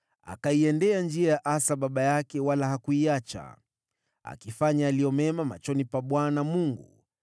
Alienenda katika njia za Asa baba yake wala hakwenda kinyume chake. Alifanya yaliyo mema machoni pa Bwana .